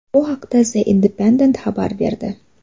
Bu haqda The Independent xabar berdi .